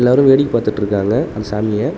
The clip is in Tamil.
எல்லாரு வேடிக்க பாத்துட்ருக்காங்க அந்த சாமிய.